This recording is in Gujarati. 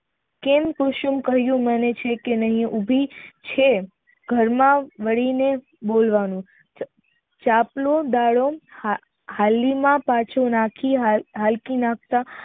કેમ કુસુમ કહ્યું માને છે કે નહી ઉભી છે ઘર ના માનીને બોલવાનુ ચાંપલો પાછો હાલમાં નાખતા